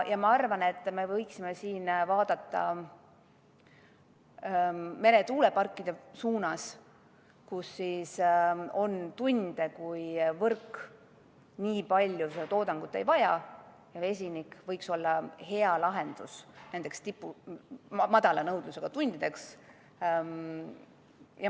Ma arvan, et me võiksime siin vaadata meretuuleparkide suunas, nende puhul on tunde, kui võrk nii palju seda toodangut ei vaja, ja vesinik võiks olla hea lahendus nendeks madala nõudlusega tundideks.